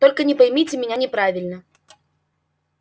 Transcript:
только не поймите меня неправильно